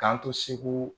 K'an to segu